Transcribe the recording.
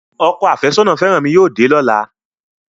Ọkọ àfẹ́sọ́nà fẹ́rànmi yóò dé lọ́la